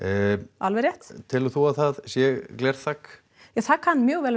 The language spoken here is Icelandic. alveg rétt telur þú að það sé glerþak já það kann mjög vel